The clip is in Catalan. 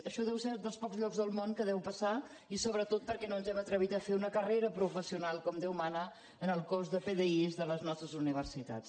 això deu ser dels pocs llocs dels món que deu passar i sobretot perquè no ens hem atrevit a fer una carrera professional com déu mana en el cos de pdi de les nostres universitats